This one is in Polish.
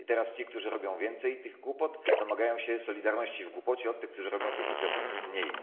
I teraz ci, którzy robią więcej tych głupot, domagają się solidarności w głupocie od tych, którzy robią tych głupot mniej.